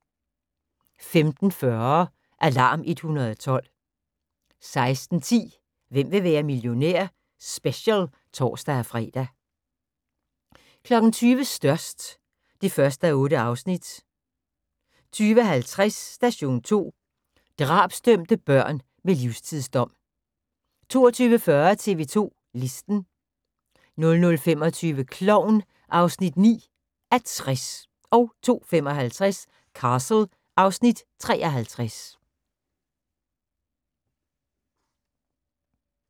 15:40: Alarm 112 16:10: Hvem vil være millionær? Special (tor-fre) 20:00: Størst (1:8) 20:50: Station 2: Drabsdømte børn med livstidsdom 22:40: TV 2 Listen 00:25: Klovn (9:60) 02:55: Castle (Afs. 53)